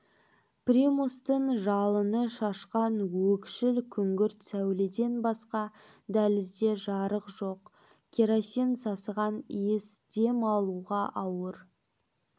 примустың жалыны шашқан өкшіл күңгірт сәуледен басқа дәлізде жарық жоқ керосин сасыған исі дем алуға ауыр